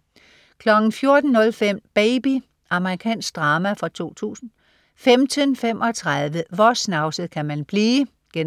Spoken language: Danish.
14.05 Baby. Amerikansk drama fra 2000 15.35 Hvor snavset kan man blive?* 16.25